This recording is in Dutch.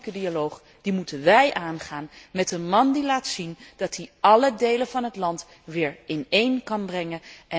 Die politieke dialoog moeten wij aangaan met een man die laat zien dat hij alle delen van het land weer bijeen kan brengen.